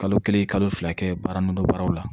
Kalo kelen kalo fila kɛ baara nunnu baaraw la